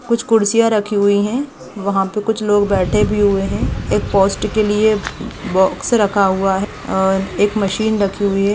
कुछ कुर्सिया रखी हुई है वहां पे कुछ लोग बैठे भी हुए है एक पोस्ट के लिए ब-बॉक्स रखा हुआ है अ एक मशीन रखी हुई है।